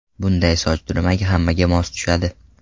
Bunday soch turmagi hammaga mos tushadi.